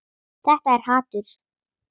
Þetta er hatur.